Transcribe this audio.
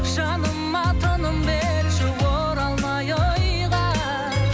жаныма тыным берші оралмай ойға